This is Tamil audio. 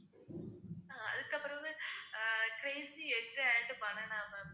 அதுக்கப்புறம் வந்து ah crazy egg and banana ma'am